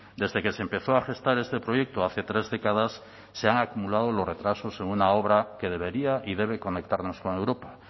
desde que se empezó a gestar este proyecto hace tres décadas se han acumulado los retrasos en una obra que debería y debe conectarnos con europa